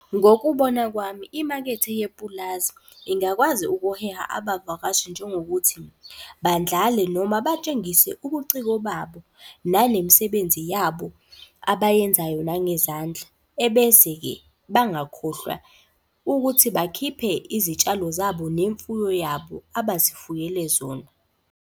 Ngokubona kwami, imakethe yepulazi ingakwazi ukuheha abavakashi njengokuthi. Bandlale noma batshengise ubuciko babo nanemisebenzi yabo abayenzayo nangezandla. Ebese-ke bangakhohlwa ukuthi bakhiphe izitshalo zabo nemfuyo yabo abazifuyele zona.